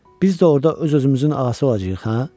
Biz də orda öz-özümüzün ası olacağıq, hə?